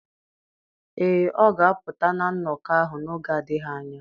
Ee, ọ ga-apụta na nnọkọ ahụ n'oge adịghị anya